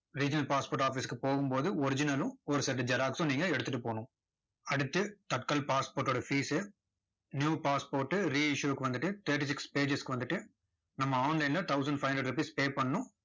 regional passport office க்கு போகும் போது original லும் ஒரு set xerox ம் நீங்க எடுத்துட்டு போகணும். அடுத்து, தட்கல் passport ஓட fees new passport re-issue க்கு வந்துட்டு thirty-six pages க்கு வந்துட்டு, நம்ம online ல thousand five hundred rupees pay பண்ணணும்.